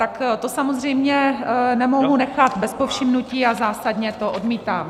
Tak to samozřejmě nemohu nechat bez povšimnutí a zásadně to odmítám.